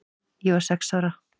Ég var sex ára.